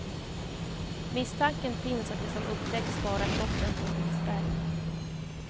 Misstanken finns att det som upptäckts bara är toppen på ett isberg.